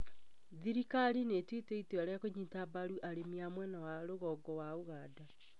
Thirikari nĩ ĩtuĩte itua rĩa kũnyita mbaru arĩmi a mwena wa rũgongo wa Uganda.